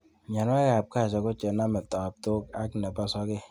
Mionwokikab cashew ko chenome taptok ak nebo sokek